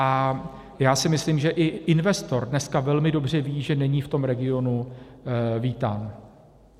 A já si myslím, že i investor dneska velmi dobře ví, že není v tom regionu vítán.